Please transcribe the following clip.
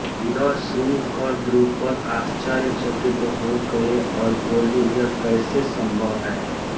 यह सुन कर द्रुपद आश्चर्यचकित हो गये और बोले यह कैसे सम्भव है